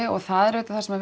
og það er auðvitað það sem